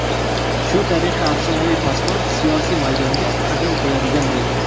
Shu tariqa afsonaviy posbon siyosiy maydonga qadam qo‘yadigan bo‘ldi.